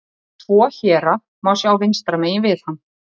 Tvo héra má sjá vinstra megin við hann.